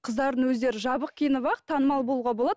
қыздардың өздер жабық киініп ақ танымал болуға болады